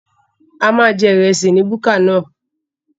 A máa jẹ ìrẹsì ní búkà náà